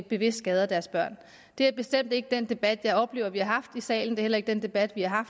bevidst skader deres børn det er bestemt ikke den debat jeg oplever at vi har haft i salen det er heller ikke den debat vi har